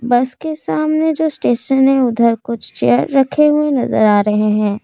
बस के सामने जो स्टेशन है उधर कुछ चेयर रखे हुए नजर आ रहे हैं।